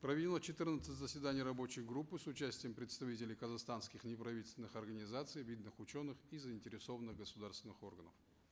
проведено четырнадцать заседаний рабочей группы с участием представителей казахстанских неправительственных организаций видных ученых и заинтересованных государственных органов